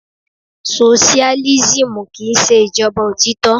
Soṣiálísímù kí ń ṣe ìjọba òtítọ́.